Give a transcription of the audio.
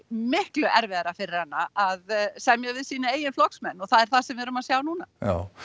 miklu erfiðara fyrir hana að semja við sína eigin flokksmenn og það er það sem við erum að sjá núna já